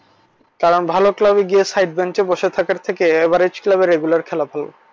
কারণ ভালো club এ side bench এ বসে থাকার থেকে average club এ regular খেলা ভালো।